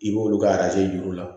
I b'olu ka jir'u la